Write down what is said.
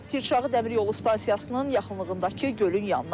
Pirşağı Dəmiryolu stansiyasının yaxınlığındakı gölün yanına.